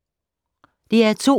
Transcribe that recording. DR2